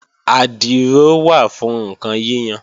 Àdìrò wà fún ǹkan yíyan